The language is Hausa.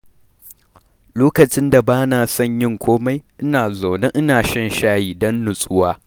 Lokacin da bana son yin komai, ina zaune ina shan shayi don natsuwa.